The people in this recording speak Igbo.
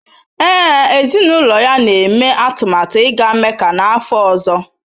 Ee, ezinụlọ ya na-eme atụmatụ ịga Mecca n’afọ ọzọ.